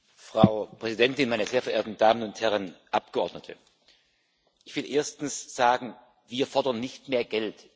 Frau Präsidentin, meine sehr verehrten Damen und Herren Abgeordnete! Ich will erstens sagen Wir fordern nicht mehr Geld.